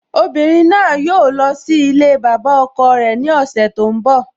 Obìnrin náà yóò lọ sí ilée bàbá ọkọ rẹ ní ọ̀sẹ̀ tó ń bọ́